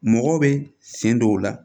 Mɔgɔ bɛ siɲɛ dɔw la